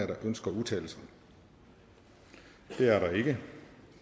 der ønsker at udtale sig det er der ikke